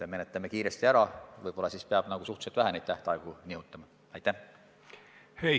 Aga menetleme kiiresti, võib-olla siis peab neid tähtaegu nihutama suhteliselt vähe.